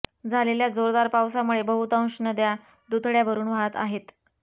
झालेल्या जोरदार पावसामुळे बहुतांश नद्या दुथड्या भरून वाहत आहेत